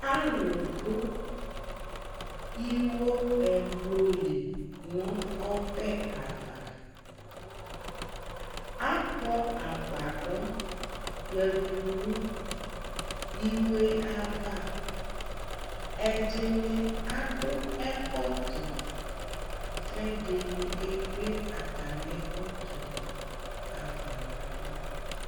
alò do iwo ɛblu li no ɔbɛ ava akpɔ agbadɔ ya du no iwo yɛ ava ɛdini adu ɛkɔtɔ k'ɛdini ekple atami ɛkɔtɔ yɛ afa n'ava